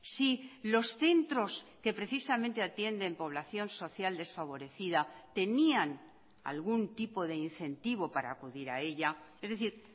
si los centros que precisamente atienden población social desfavorecida tenían algún tipo de incentivo para acudir a ella es decir